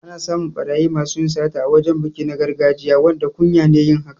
Ana samun ɓarayi masu sata a wajan taron biki na gargajiya, wanda kunya ne yin hakan